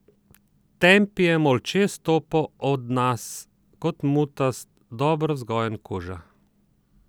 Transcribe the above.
Tempi je molče stopal ob nas kot mutast, dobro vzgojen kuža.